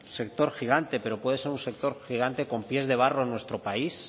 sector gigante pero puede ser un sector gigante con pies de barro en nuestro país